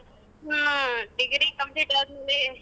ಹ್ಮ degree complete ಅದ್ಮೇಲ್.